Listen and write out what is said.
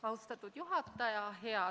Austatud juhataja!